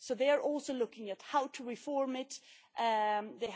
So they are also looking at how to reform the system.